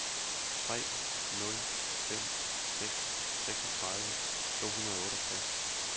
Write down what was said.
tre nul fem seks seksogtredive to hundrede og otteogtres